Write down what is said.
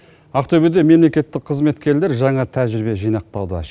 ақтөбеде мемлекеттік қызметкерлер жаңа тәжірибе жинақтады